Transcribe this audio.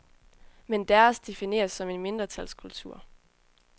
Men deres defineres som en mindretalskultur.